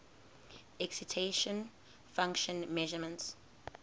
excitation function measurements